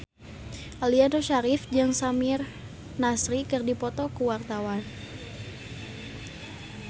Aliando Syarif jeung Samir Nasri keur dipoto ku wartawan